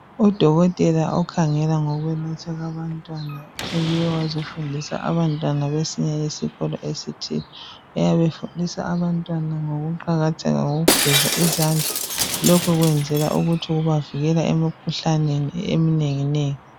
Udokotela okhangela ngokwelatshwa kwanbantwana. Ubuye ukuzafundisa abantwana kwesinye isikolo esithile. Uyabe efundisa abantwana ngokuqakatheka kokugeza izandla. Lokhu kwenzela ukubavikela emikhuhlaneni eminenginengi.